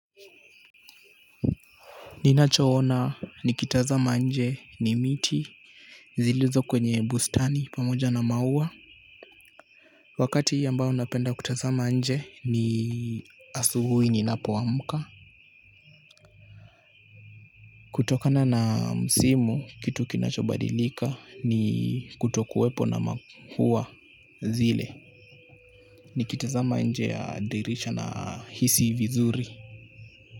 Ninachoona nikitazama nje ni miti zilizo kwenye bustani pamoja na maua. Wakati ambao napenda kutazama nje ni asuhuhi ninapoamka. Kutokana na msimu kitu kinachobadilika ni kutokuwepo na maua zile. Niikitazama nje ya dirisha nahisi vizuri.